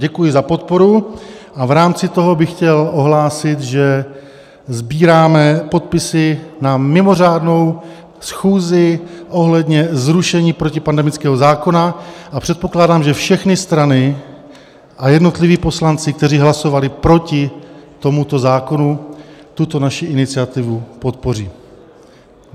Děkuji za podporu a v rámci toho bych chtěl ohlásit, že sbíráme podpisy na mimořádnou schůzi ohledně zrušení protipandemického zákona, a předpokládám, že všechny strany a jednotliví poslanci, kteří hlasovali proti tomuto zákonu, tuto naši iniciativu podpoří.